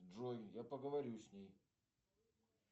джой я поговорю с ней